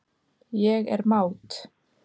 Ég er mát.